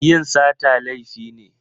Yin sata laifi ne.